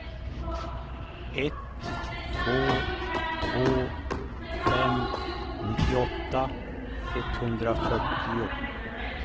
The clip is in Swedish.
ett två två fem nittioåtta etthundrafyrtio